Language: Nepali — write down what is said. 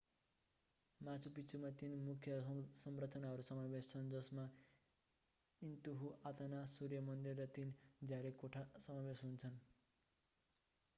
माचु पिच्चुमा तीन मुख्य संरचनाहरू समावेश छन् जसमा इन्तिहुआताना सूर्य मन्दिर र तीन झ्याले कोठा समावेश छन्